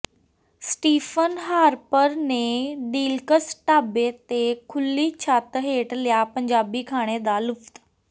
Stephen Harper ਨੇ ਡੀਲਕਸ ਢਾਬੇ ਤੇ ਖੁੱਲ੍ਹੀ ਛੱਤ ਹੇਠ ਲਿਆ ਪੰਜਾਬੀ ਖਾਣੇ ਦਾ ਲੁਤਫ